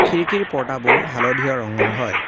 খিৰিকীৰ পৰ্দাবোৰ হালধীয়া ৰঙৰ হয়।